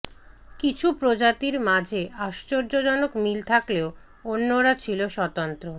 কিছু প্রজাতির মাঝে আশ্চর্যজনক মিল থাকলেও অন্যরা ছিল স্বতন্ত্র